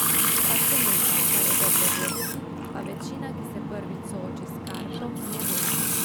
Pa še nekaj, kar je dobro vedeti, pa večina, ki se prvič sooči s kartom ne ve.